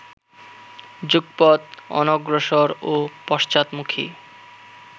যুগপৎ অনগ্রসর ও পশ্চাৎমুখী